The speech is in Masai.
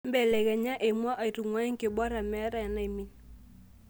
mbelekenya emua aitung'uaa enkibora meetaa enaimin